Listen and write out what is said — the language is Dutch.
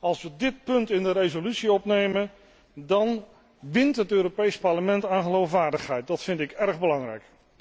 Als wij dit punt in de resolutie opnemen dan wint het Europees Parlement aan geloofwaardigheid, dat vind ik erg belangrijk.